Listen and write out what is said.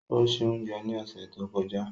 O ṣé oúnjẹ ní ọ̀sẹ̀ tó kọjá.